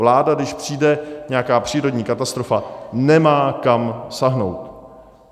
Vláda, když přijde nějaká přírodní katastrofa, nemá kam sáhnout.